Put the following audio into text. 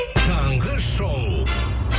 таңғы шоу